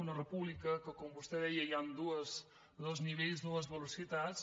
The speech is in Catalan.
una república que com vostè deia hi han dos nivells dues velocitats